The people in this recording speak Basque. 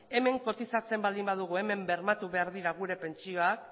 hemen kotizatzen baldin badugu hemen bermatu behar dira gure pentsioak